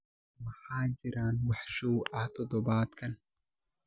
ma jiraan wax show ah todobaadkan